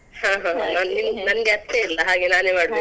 ನಂಗೆ ಅತ್ತೆ ಇಲ್ಲ ಹಾಗೆ ನಾನೆ ಮಡ್ಬೇಕು.